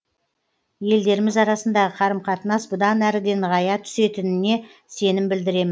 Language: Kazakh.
елдеріміз арасындағы қарым қатынас бұдан әрі де нығая түсетініне сенім білдіремін